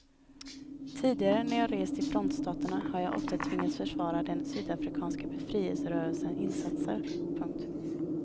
Tidigare när jag rest i frontstaterna har jag ofta tvingats försvara den sydafrikanska befrielserörelsens insatser. punkt